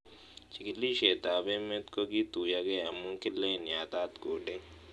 Chig'ilishet ab emet ko kituyokei amu kilen yatat coding